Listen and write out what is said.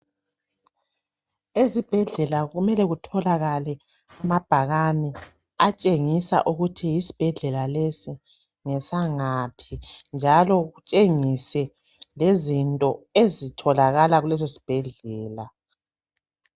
Ezibhedlela kumele kutholakale amabhakane atshengisa ukuthi yisibhedlela lesi ngesangaphi njalo kutshengise lezinto ezitholakala kuleso sibhedlela.